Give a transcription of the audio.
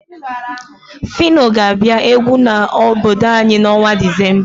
Fino ga-abịa egwu n'obodo anyi n'ọnwa Disemba.